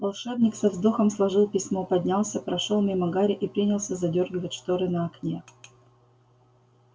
волшебник со вздохом сложил письмо поднялся прошёл мимо гарри и принялся задёргивать шторы на окне